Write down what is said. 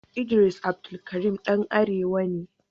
Idris Abdulkarim ɗan arewa ne.